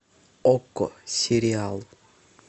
окко сериал